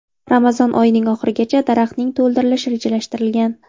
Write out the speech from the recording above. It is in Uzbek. Ramazon oyining oxirigacha daraxtning to‘ldirilishi rejalashtirilgan.